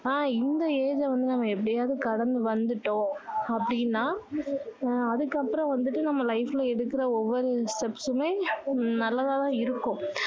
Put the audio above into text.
ஆஹ் இந்த age வந்து நம்ம எப்படியாவது கடந்து வந்துட்டோம் அப்படின்னா உம் அதுக்கு அப்பறோம் வந்துட்டு நம்ம life ல எடுக்கிற ஒவ்வொரு steps முமே நல்லதாதான் இருக்கும்